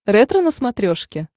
ретро на смотрешке